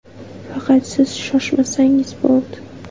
Faqat siz shoshmasangiz bo‘ldi.